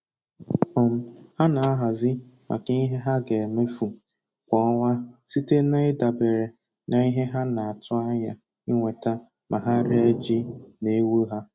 um Ha na-ahazi maka ihe ha ga-emefu kwa ọnwa site na-ịdabere n'ihe ha na-atụanya inweta ma ha ree ji na ewu ha